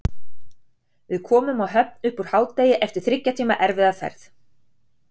Við komum á Höfn upp úr hádegi eftir þriggja tíma erfiða ferð.